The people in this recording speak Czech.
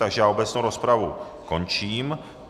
Takže já obecnou rozpravu končím.